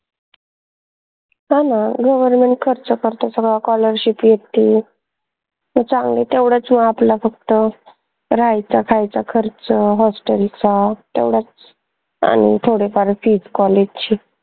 चांगलंय government खर्च करते सगळा scholarship हे ते चांगलं तेवढंच म आपल्याला फक्त राहायचा खायचा खर्च hostel चा तेवढंच आनि थोडीफार college fees ची